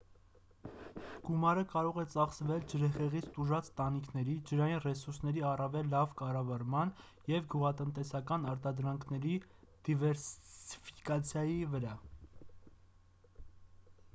գումարը կարող է ծախսվել ջրհեղեղից տուժած տանիքների ջրային ռեսուրսների առավել լավ կառավարման և գյուղատնտեսական արտադրանքների դիվերսիֆիկացիայի վրա